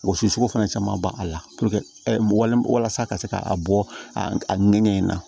Wɔsiso fana caman b'a la walasa ka se ka a bɔ a ŋɛɲɛ in na